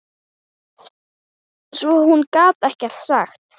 Svo hún gat ekkert sagt.